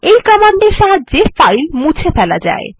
এই কমান্ডের সাহায্যে ফাইল মুছে ফেলা যায়